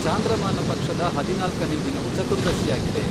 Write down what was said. ಚಾಂದ್ರಮಾನ ಪಕ್ಷದ ಹದಿನಾಲ್ಕನೇ ದಿನವು ಚತುರ್ದಶಿಯಾಗಿದೆ .